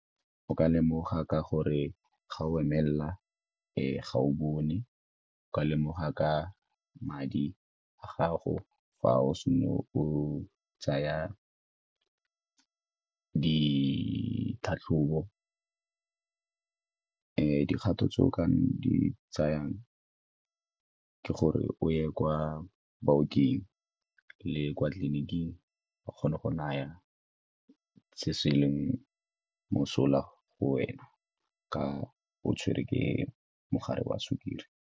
O ka lemoga ka gore ga o emelela e ga o bone, o ka lemoga ka madi a gago fa o o tsaya ditlhatlhobo. Dikgato tse o ka di tsayang ke gore o ye kwa baoking le kwa tleliniking ba kgone go naya se leng mosola go wena ka o tshwerwe ke mogare wa sukiri.